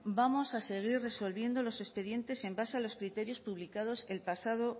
vamos a seguir resolviendo los expedientes en base a los criterios publicados el pasado